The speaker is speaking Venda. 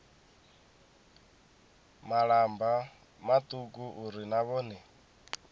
malamba mauku uri na vhone